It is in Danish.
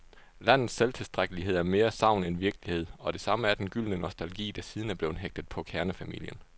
Landets selvtilstrækkelighed er mere sagn end virkelighed, og det samme er den gyldne nostalgi, der siden er blevet hægtet på kernefamilien.